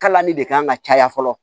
Kalali de kan ka caya fɔlɔ